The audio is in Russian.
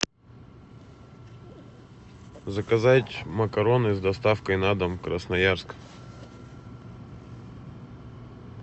заказать макароны с доставкой на дом красноярск